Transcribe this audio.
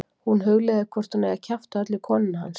Hún hugleiðir hvort hún eigi að kjafta öllu í konuna hans.